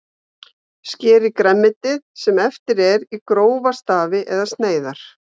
Skerið grænmetið, sem eftir er, í grófa stafi eða sneiðar.